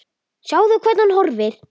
Sjáðu, hvernig hún horfir!